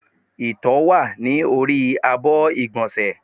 Ìtọ́ wá ní orí àbọ̀ igbonse